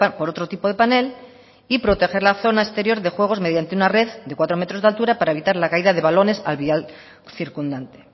por otro tipo de panel y proteger la zona exterior de juegos mediante una red de cuatro metros de altura para evitar la caída de balones al vial circundante